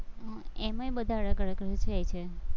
એમાંય બધા અલગ અલગ રેય છે.